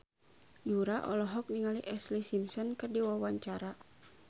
Yura olohok ningali Ashlee Simpson keur diwawancara